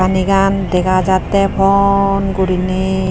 Panigan dega jatte pon gurine.